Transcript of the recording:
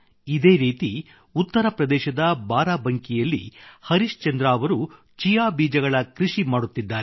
ಇದೇ ರೀತಿ ಉತ್ತರ ಪ್ರದೇಶದ ಬಾರಾಬಂಕಿಯಲ್ಲಿ ಹರಿಶ್ಚಂದ್ರ ಅವರು ಚಿಯಾ ಬೀಜಗಳ ಕೃಷಿ ಮಾಡುತ್ತಿದ್ದಾರೆ